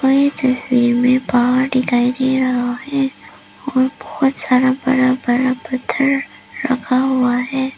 और ये तस्वीर में पहाड़ दिखाई दे राहा है और बहोत सारा बड़ा बड़ा पत्थर रखा हुआ है।